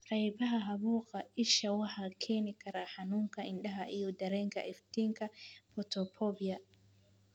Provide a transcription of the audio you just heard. Qaybaha caabuqa isha waxay keeni karaan xanuunka indhaha iyo dareenka iftiinka (photophobia).